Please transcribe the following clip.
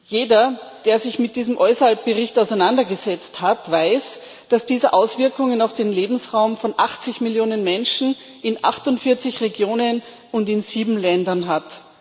Jeder, der sich mit diesem EUSALP Bericht auseinandergesetzt hat, weiß, dass dieser Auswirkungen auf den Lebensraum von 80 Millionen Menschen in 48 Regionen und in 7 Ländern hat.